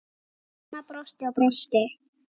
Mamma brosti og brosti.